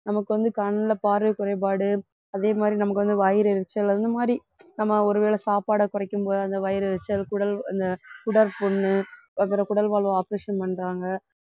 நமக்கு வந்து கண்ல பார்வை குறைபாடு அதே மாதிரி நமக்கு வந்து வயிறு எரிச்சல் அந்த மாதிரி நம்ம ஒரு வேளை சாப்பாடை குறைக்கும் போது அந்த வயிறு எரிச்சல் குடல் அந்த குடற்புண்ணு அப்புறம் குடல்வால் operation பண்றாங்க